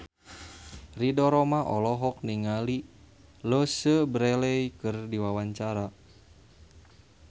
Ridho Roma olohok ningali Louise Brealey keur diwawancara